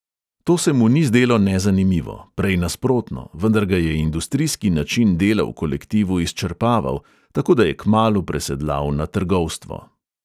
To se mu ni zdelo nezanimivo, prej nasprotno, vendar ga je industrijski način dela v kolektivu izčrpaval, tako da je kmalu presedlal na trgovstvo.